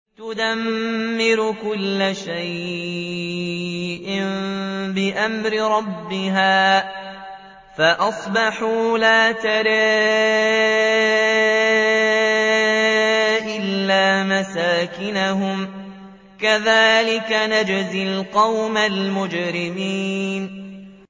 تُدَمِّرُ كُلَّ شَيْءٍ بِأَمْرِ رَبِّهَا فَأَصْبَحُوا لَا يُرَىٰ إِلَّا مَسَاكِنُهُمْ ۚ كَذَٰلِكَ نَجْزِي الْقَوْمَ الْمُجْرِمِينَ